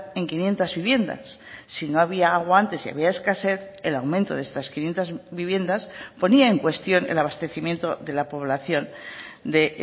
en quinientos viviendas si no había agua antes y había escasez el aumento de estas quinientos viviendas ponía en cuestión el abastecimiento de la población de